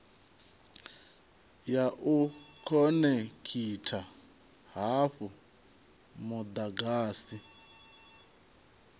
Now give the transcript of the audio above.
ya u khonekhitha hafhu mudagasi